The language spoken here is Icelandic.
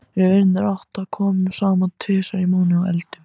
Við vinirnir átta komum saman tvisvar í mánuði og eldum.